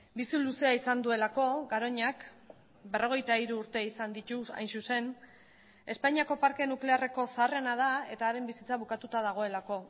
bizi luzea izan duelako garoñak berrogeita hiru urte izan ditu hain zuzen espainiako parke nuklearreko zaharrena da eta haren bizitza bukatuta dagoelako